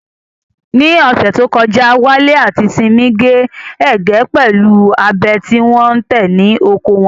Ní ọ̀sẹ̀ tó kọjá, Wale àti Simi gé ẹ̀gẹ́ pẹ̀lú abẹ tí wọ́n tẹ̀ ní oko wọn.